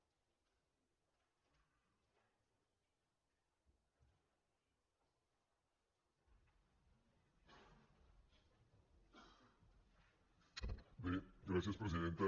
bé gràcies presidenta